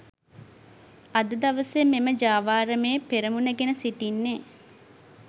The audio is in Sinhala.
අද දවසේ මෙම ජාවාරමේ පෙරමුණ ගෙන සිටින්නේ